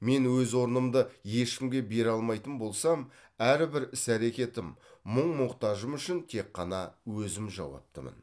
мен өз орнымды ешкімге бере алмайтын болсам әрбір іс әрекетім мұң мұқтажым үшін тек қана өзім жауаптымын